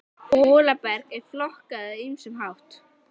Molaberg er flokkað á ýmsan hátt.